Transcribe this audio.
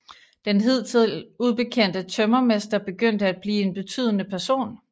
Den hidtil ubekendte tømmermester begyndte at blive en betydende person